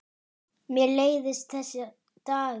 Mér leiðist þessi dagur.